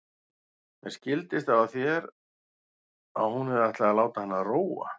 Mér skildist á þér að hún hefði ætlað að láta hann róa.